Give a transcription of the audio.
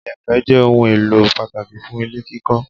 Ìyẹ̀pẹ̀ jẹ́ ohun èlò pàtàkì fún ilé kíkọ